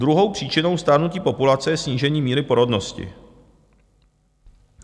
Druhou příčinou stárnutí populace je snížení míry porodnosti.